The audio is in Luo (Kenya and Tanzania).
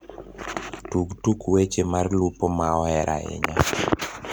tug tuk weche mar lupo maoher ahinya